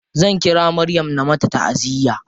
Zan ƙira maryam na mata taʼaziya.